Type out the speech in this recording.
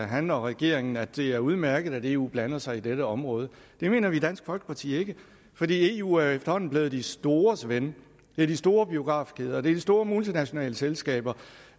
han og regeringen at det er udmærket at eu blander sig i dette område det mener vi i dansk folkeparti ikke fordi eu efterhånden er blevet de stores ven det er de store biografkæder det er de store multinationale selskaber